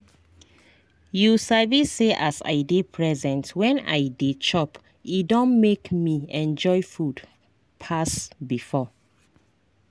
you sabi say as i dey present when i dey chop e don make me enjoy food pass before.